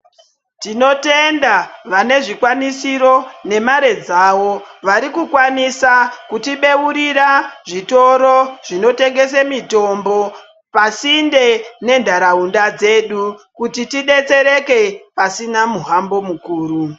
Tinotenda vane zvikwanisiro ngemare dzavo varikukwanisa kutibeurira zvitoro zvinotengesa mitombo pasinde nenharaunda dzedu kuti tidetsereke pasina muhambo mukuru.